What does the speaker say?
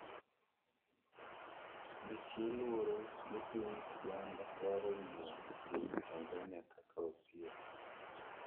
nitie luoro ni piny Uganda dwaro ng'iyo piny Tanzania kaka osiep